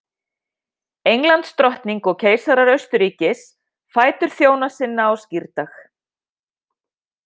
Englandsdrottning og keisarar Austurríkis, fætur þjóna sinna á skírdag.